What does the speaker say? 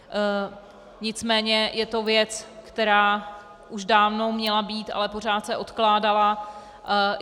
Nicméně je to věc, která už dávno měla být, ale pořád se odkládala.